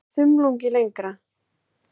Ekki þumlungi lengra.